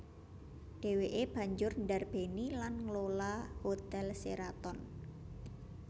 Dhèwèké banjur ndarbèni lan nglola Hotel Sheraton